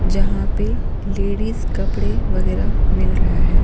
जहां पे लेडीज कपड़े वगैरह मिल रहा है।